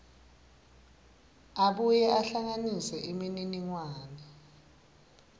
abuye ahlanganise imininingwane